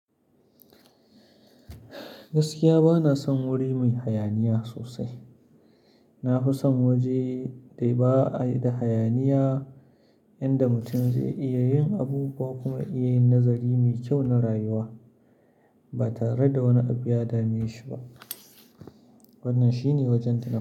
Gaskiya bana son wuri mai hayaniya sosai. Na fi son waje dai ba'a da hayaniya, inda mutum zai iya yin abu ba kuma iya nazari mai kyau na rayuwa ba tare da wani abu ya dame shi ba. Wannan shine wajen tuna.